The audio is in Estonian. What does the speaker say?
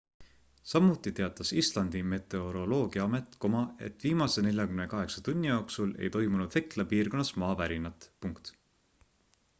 samuti teatas islandi meteoroloogiaamet et viimase 48 tunni jooksul ei toimunud hekla piirkonnas maavärinat